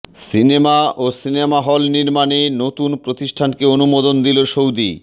cinema ও cinema hall নির্মাণে নতুন প্রতিষ্ঠানকে অনুমোদন দিল সৌদি